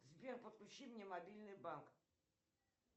сбер подключи мне мобильный банк